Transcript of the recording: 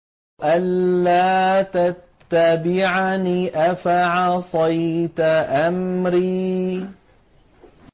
أَلَّا تَتَّبِعَنِ ۖ أَفَعَصَيْتَ أَمْرِي